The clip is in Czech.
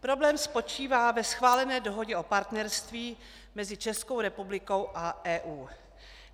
Problém spočívá ve schválené Dohodě o partnerství mezi Českou republikou a EU.